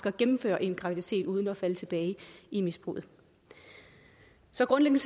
at gennemføre en graviditet uden at falde tilbage i misbruget så grundlæggende